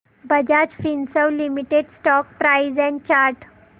Bajaj Finserv limited stock price and chart